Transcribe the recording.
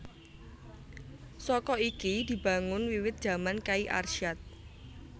Saka iki dibangun wiwit jaman Kyai Arsyad